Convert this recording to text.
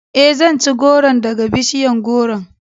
Ee, zan ci gworon daga bishiyar gworon..